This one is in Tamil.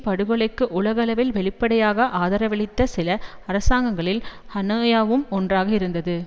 படுகொலைக்கு உலகளவில் வெளிப்படையாக ஆதரவளித்த சில அரசாங்கங்களில் ஹனோயும் ஒன்றாக இருந்தது